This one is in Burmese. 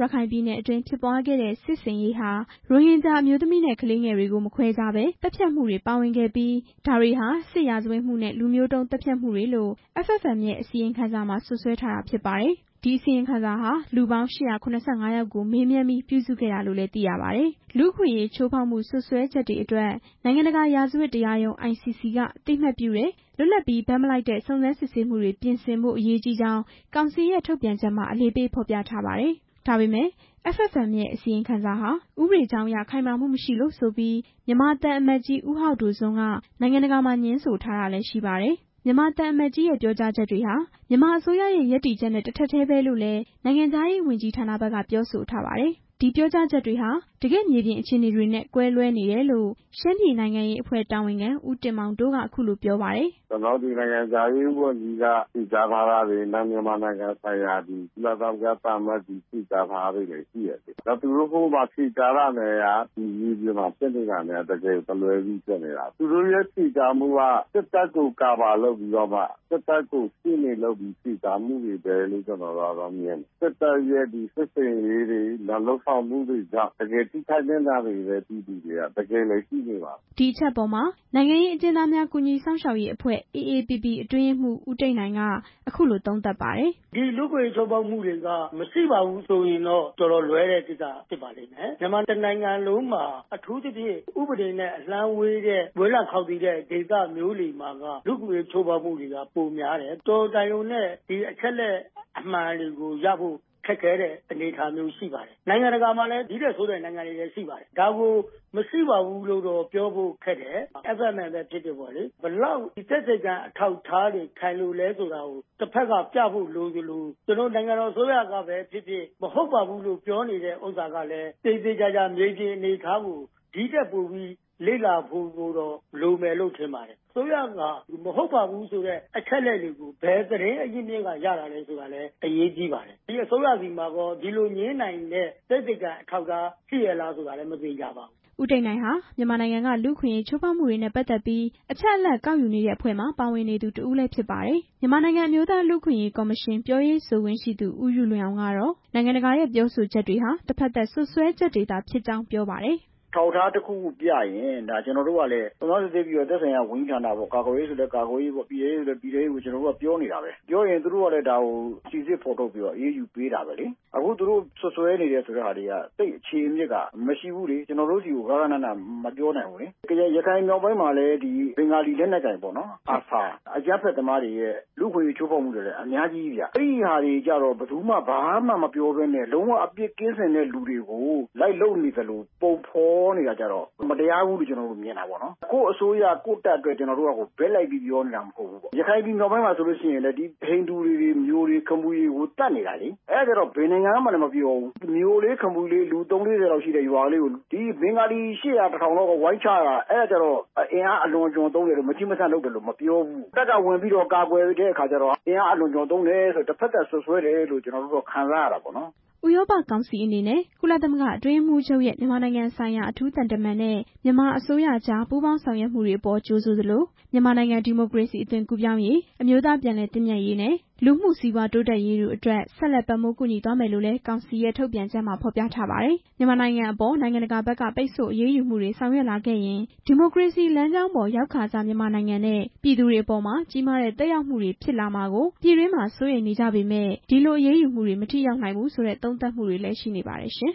လက ရခိုင်ပြည်နယ်အတွင်း ဖြစ်ပွားခဲ့တဲ့ စစ်ဆင်ရေးဟာ ရိုဟင်ဂျာအမျိုးသမီးနဲ့ ကလေးငယ်တွေကို မခွဲခြားဘဲ သတ်ဖြတ်ခဲ့မှုတွေပါဝင်ခဲ့ပြီး ဒါတွေဟာ စစ်ရာဇဝတ်မှုနဲ့ လူမျိုးတုံးသတ်ဖြတ်မှုတွေလို့ FFM ရဲ့ အစီရင်ခံစာမှာ စွပ်စွဲထားတာ ဖြစ်ပါတယ်။ ဒီအစီရင်ခံစာဟာ လူပေါင်း ၈၇၅ ယောက်ကို မေးမြန်းပြီး ပြုစုခဲ့တာလို့လည်း သိရပါတယ်။ လူ့အခွင့်အရေးချိုးဖေါက်မှု စွပ်စွဲချက်တွေအတွက် နိုင်ငံတကာ ရာဇဝတ်တရားရုံး ICC က အသိအမှတ်ပြုတဲ့ လွတ်လပ်ပြီး ဘက်မလိုက်တဲ့ စုံစမ်းစစ်ဆေးမှုတွေ ပြင်ဆင်ဖို့အရေးကြီးကြောင်း ကောင်စီရဲ့ ထုတ်ပြန်ချက်မှာ အလေးပေး ဖော်ပြထားပါတယ်။ ဒါပေမဲ့ FFM ရဲ့ အစီရင်ခံစာဟာ ဥပဒေကြောင်းအရ ခိုင်မာမှုမရှိလို့ဆိုပြီး မြန်မာသံအမတ်ကြီး ဦးဟောက်ဒိုစွမ်း က နိုင်ငံတကာမှာ ငြင်းဆိုထားတာလည်း ရှိပါတယ်။ မြန်မာသံအမတ်ကြီးရဲ့ ပြောကြားချက်တွေဟာ မြန်မာအစိုးရဲ့ ရပ်တည်ချက်နဲ့ တစ်ထပ်တည်းပဲလို့လည်း နိုင်ငံခြားရေးဝန်ကြီးဌာနဘက်ကလည်း ပြောဆိုထားပါတယ်။ ဒီပြောကြားချက်တွေဟာ တကယ့်မြေပြင်အခြေအနေတွေနဲ့ ကွဲလွဲနေတယ်လို့ ရှမ်းပြည်နိုင်ငံရေးအဖွဲ့ တာဝန်ခံ ဦးတင်မောင်တိုး က အခုလိုပြောပါတယ်။ "နိုင်ငံခြားရေးဝန်ကြီးတို့ မြန်မာနိုင်ငံဆိုင်ရာ ကုလသမဂ္ဂသံအမတ်ကြီးတို့ ဖြေကြားထားတာတွေနဲ့ မြေပြင်မှာ ဖြစ်နေတာနဲ့က တကယ်တလွဲစီဖြစ်နေတာ၊ သူတို့ရဲ့ဖြေကြားမှုတွေက စစ်တပ်ကို ကာဗာလုပ်ပြီး ရှေ့နေလုပ်ပြီး ဖြေကြားမှုတွေပဲလို့မြင်တယ်၊ စစ်တပ်ရဲ့ စစ်ဆင်ရေးလာလုပ်ဆောင်မှုတွေကြောင့် တကယ်ထိခိုက်နစ်နာနေတဲ့ ပြည်သူတွေက တကယ်လည်းရှိနေပါတယ်" ဒီအချက်အပေါ်မှာ နိုင်ငံရေးအကျဉ်းသားများ ကူညီစောင့်ရှောက်ရေးအဖွဲ့ AAPP အတွင်းရေးမှူး ဦးတိတ်နိုင် က အခုလို သုံးသပ်ပါတယ်။ "ဒီလူ့အခွင့်အရေးချိုးဖောက်မှုတွေက မရှိပါဘူးဆိုရင်တော့ တော်တော်လွဲတဲ့ကိစ္စပဲ၊ မြန်မာမှာ အထူးသဖြင့် ဥပဒေနဲ့ အလှမ်းဝေးတဲ့ ဝေးလံခါင်သီတဲ့ဒေသမျိုးတွေမှာ လူ့အခွင့်အရေးချိုးဖောက်မှုတွေက ပိုများတယ်၊ အချက်အလက်အမှန်တွေကိုရဖို့ ခက်ခဲတဲ့အနေအထားရှိတယ်၊ နိုင်ငံတကာမှာလည်း ဒီထက်ဆိုးတာတွေရှိတယ်၊ ဒါကိုမရှိပါဘူးလို့ ပြောဖို့ခက်တယ်၊ FFM ပဲဖြစ်ဖြစ်ပေါ့လေ၊ ဘယ်လောက်သက်သေခံအထောက်အထားတွေ ခိုင်လဲဆိုတာကို တဖက်ကပြဖို့လိုသလို ကျနော်တို့နိုင်ငံတော်အစိုးရကပဲဖြစ်ဖြစ် ပြောနေတာကလည်း သေသေ ချာချာမြေပြင်အနေအထားကို ဒီထက်ပိုပြီး လေ့လာဖို့လိုမယ်လို့ထင်တယ်၊ မဟုတ်ပါဘူးဆိုတဲ့ အချက်အလက်တွေ ကို ဘယ်သတင်းအရင်းအမြစ်က ရတာလဲဆိုတာလည်း အရေးကြီးတယ်၊ ဒီအစိုးရဆီမှာရော ဒီလိုငြင်းနိုင်တဲ့ သက်သေခံ အထောက်အထားရှိရဲ့လားဆိုတာလည်း မသေချာပါဘူး" ဦးတိတ်နိုင်ဟာ မြန်မာနိုင်ငံက လူ့အခွင့်အရေးချိုးဖောက်မှုတွေနဲ့ ပတ်သက်ပြီး အချက်အလက်ကောက်ယူနေ တဲ့အဖွဲ့မှာ ပါဝင်နေသူတစ်ဦးလည်း ဖြစ်ပါတယ်။ မြန်မာနိုင်ငံအမျိုးသား လူ့အခွင့်အရေးကော်မရှင် ပြောရေး ဆိုခွင့်ရှိသူ ဦးယုလွင်အောင် ကတော့ နိုင်ငံတကာရဲ့ ပြောဆိုချက်တွေဟာ တစ်ဖက်သတ်စွပ်စွဲချက်တွေသာဖြစ်ကြောင်း ပြောပါတယ်။ "အထောက်အထားတစ်ခုခုပြရင် ကျနော်တို့ကလည်း စုံစမ်းစစ်ဆေးပြီးတော့ ကာကွယ်ရေး၊ ပြည်ထဲရေး စတဲ့ သက်ဆိုင်ရာဝန်ကြီးဌာနပေါ့၊ ကျနော်တို့က ပြောနေတာပဲ၊ ပြောရင်သူတို့ကလည်း ဒါကိုစုံစမ်းဖော်ထုတ်ပြီးတော့ အရေးယူပေးနေတာပဲ၊ ခုသူတို့စွပ်စွဲနေတယ်ဆိုတဲ့ဟာတွေက သိပ်အခြေအမြစ်ကမရှိဘူးလေ၊ ကျနော်တို့ဆီကို သေချာမပြောနိုင်ဘူးလေ၊ ရခိုင်မြောက်ပိုင်းမှာလည်း ဘင်္ဂါလီလက်နက်ကိုင်တွေ ARSA ရဲ့ အကြမ်းဖက် သမားတွေရဲ့ လူ့အခွင့်အရေးချိုးဖောက်မှုတွေလည်း အများကြီးဗျ၊ အဲဒါမျိုးကျ ဘယ်သူမှဘာမှမပြောဘူးဗျ၊ အပြစ်ကင်းစင်တဲ့သူတွေကို လိုက်လုပ်နေသလို ပုံဖော်နေတာကျတော့ မတရားဘူးလို့မြင်တာပေါ့နော်၊ ကိုယ့်အစိုးရ ကိုယ့်တပ်အတွက် ဘက်လိုက်ပြီးပြောနေတာမဟုတ်ဘူးနော်၊ ရခိုင်မြောက်ပိုင်းမှာဆိုရင် ဟိန္ဒူတွေ၊ မြိုတွေ၊ ခမီတွေကို သတ်နေတာလေ၊ အဲဒါကျဘယ်နိုင်ငံမှမပြောဘူး၊ မြိုလေး ခမီလေး လူ ၃၀ ၄၀ လောက်ရှိတဲ့ရွာ လေးကို ဘင်္ဂါလီ ၈၀၀၊ ၁၀၀၀ လောက်က ဝိုင်းချတာကျတော့ အင်အားအလွန်အကျွံသုံးတယ်လို့ ဘယ်သူမှမပြောဘူး၊ တပ်ကဝင်ကူပြီး ကာကွယ်တဲ့အခါကျတော့ အင်အားအလွန်အကျွံသုံးတယ်ဆိုတဲ့အခါ တစ်ဖက်သတ်စွပ်စွဲတယ်လို့ ကျနော်တို့ခံစားရတာပေါ့" ဥရောပကောင်စီအနေနဲ့ ကုလသမဂ္ဂ အတွင်းရေးမှူးချုပ်ရဲ့ မြန်မာနိုင်ငံဆိုင်ရာ အထူးသံတမန်နဲ့ မြန်မာအစိုးရကြား ပူးပေါင်းဆောင်ရွက်မှုတွေအပေါ် ကြိုဆိုသလို၊ မြန်မာနိုင်ငံ ဒီမိုကရေစီ အသွင်ကူးပြောင်းရေး၊ အမျိုးသား ပြန်လည်သင့်မြတ်ရေးနဲ့ လူမှုစီးပွား တိုးတက်ရေးတို့အတွက် ဆက်လက် ပံ့ပိုးကူညီသွားမယ်လို့လည်း ကောင်စီရဲ့ ထုတ်ပြန်ချက်မှာ ဖေါ်ပြပါတယ်။ မြန်မာနိုင်ငံအပေါ် နိုင်ငံတကာဘက်က ပိတ်ဆို့အရေးယူမှုတွေ ဆောင်ရွက်လာခဲ့ရင် ဒီမိုကရေစီလမ်းကြောင်းပေါ် ရောက်ခါစ မြန်မာနိုင်ငံနဲ့ ပြည်သူတွေအပေါ်မှာ ကြီးမားတဲ့သက်ရောက်မှုတွေ ဖြစ်လာမှာကို ပြည်တွင်းမှာ စိုးရိမ်နေကြပေမယ့် ဒီလိုအရေးယူမှုတွေ မထိရောက်နိုင်ဘူးဆိုတဲ့ သုံးသပ်မှုတွေလည်း ရှိနေပါတယ်ရှင်။